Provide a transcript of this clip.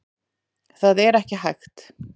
Það er ekki hægt.